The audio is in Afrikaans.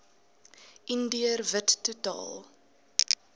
indiër wit totaal